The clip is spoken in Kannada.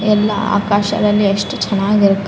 ಎಲ್ಲ ಆಕಾಶದಲ್ಲಿ ಯೆಸ್ಟ್ ಚೆನ್ನಾಗಿರತ್ --